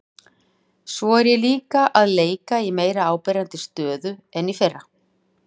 Svo er ég líka að leika í meira áberandi stöðu en í fyrra.